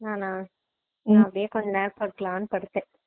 நானா நான் அப்படியே கொஞ்ச நேரம் படுக்கலாம்னு படுத்தேன்